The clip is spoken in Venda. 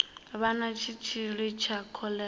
vha na tshitshili tsha kholera